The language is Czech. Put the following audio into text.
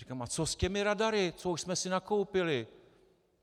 Říkám - a co s těmi radary, co už jsme si nakoupili?